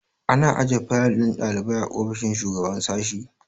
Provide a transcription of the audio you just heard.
Ana ajiye fayil ɗin ɗalibai a ofishin shugaban sashi